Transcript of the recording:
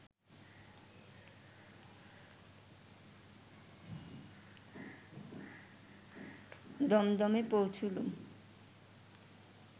দমদমে পৌঁছুলুম